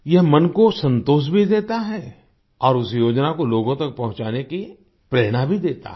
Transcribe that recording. यह मन को संतोष भी देता है और उस योजना को लोगों तक पहुँचाने की प्रेरणा भी देता है